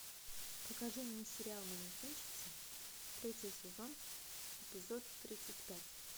покажи мне сериал манекенщица третий сезон эпизод тридцать пять